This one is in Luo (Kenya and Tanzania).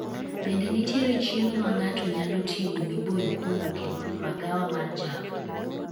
Bende nitiere chiemo ma ng'ato nyalo ting'o miboyo kowuok e magawa mar java